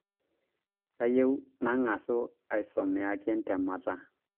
Kayieu nang'asu asomeaki ntemata